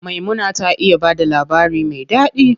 Maimuna ta iya bada labari me ɗaɗi.